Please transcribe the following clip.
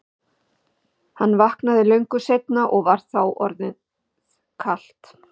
Hann vaknaði löngu seinna og var þá orðið kalt.